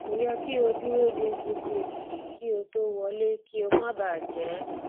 kò yẹ kí o dúró de gbogbo ènìyàn kí o tó wọlé kí o má bà jé